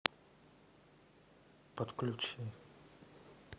подключи